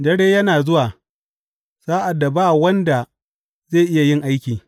Dare yana zuwa, sa’ad da ba wanda zai iya yin aiki.